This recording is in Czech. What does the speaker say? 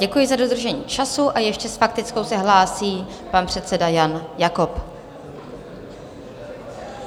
Děkuji za dodržení času a ještě s faktickou se hlásí pan předseda Jan Jakob.